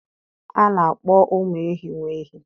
a na-akpọ ụmụ ehi nwa ehi